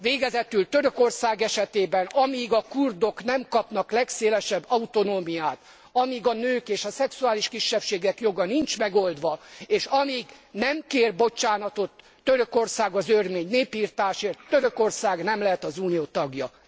Végezetül Törökország esetében, amíg a kurdok nem kapnak legszélesebb autonómiát, amíg a nők és a szexuális kisebbségek joga nincs megoldva, és amíg nem kér bocsánatot Törökország az örmény népirtásért, Törökország nem lehet az Unió tagja